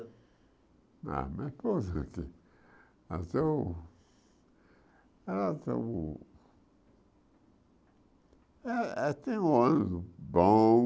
A minha esposa aqui, ela tem o ela tem o eh ela tem um ônibus bom,